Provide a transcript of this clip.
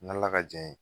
N'ala ka jɛ ye